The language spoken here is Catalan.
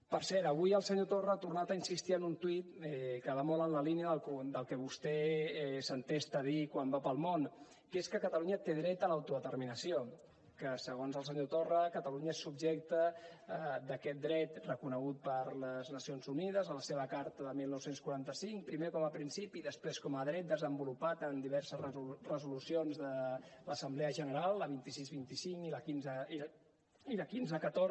per cert avui el senyor torra ha tornat a insistir en un tuit que va molt en la línia del que vostè s’entesta a dir quan va pel món que és que catalunya té dret a l’autodeterminació que segons el senyor torra catalunya és subjecte d’aquest dret reconegut per les nacions unides en la seva carta del dinou quaranta cinc primer com a principi i després com a dret desenvolupat en diverses resolucions de l’assemblea general la dos mil sis cents i vint cinc i la quinze deu quatre